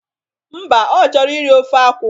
Mba, ọ chọrọ iri ofe akwụ